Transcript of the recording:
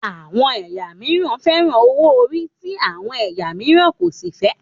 Àwọn ẹyà mìíràn fẹ́ràn owó ori ti àwọn ẹ̀yà mìíràn kò sí fẹ